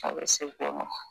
Aw bɛ se bɔ ma